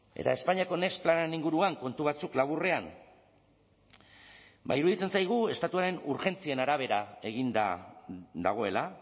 eta espainiako next planaren inguruan kontu batzuk laburrean ba iruditzen zaigu estatuaren urgentzien arabera eginda dagoela